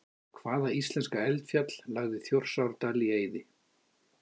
Hvaða íslenska eldfjall lagði Þjórsárdal í eyði?